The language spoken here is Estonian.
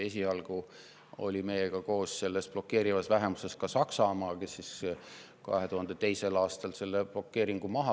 Esialgu oli meiega koos selles blokeerivas vähemuses ka Saksamaa, aga aastal 2002 võttis Saksamaa selle blokeeringu maha.